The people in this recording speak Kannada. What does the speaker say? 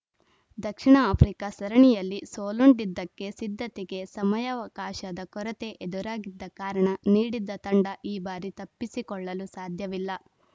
ದಕ್ಷಿಣ ಆಫ್ರಿಕಾ ಸರಣಿಯಲ್ಲಿ ಸೋಲುಂಡಿದ್ದಕ್ಕೆ ಸಿದ್ಧತೆಗೆ ಸಮಯಾವಕಾಶದ ಕೊರತೆ ಎದುರಾಗಿದ್ದ ಕಾರಣ ನೀಡಿದ್ದ ತಂಡ ಈ ಬಾರಿ ತಪ್ಪಿಸಿಕೊಳ್ಳಲು ಸಾಧ್ಯವಿಲ್ಲ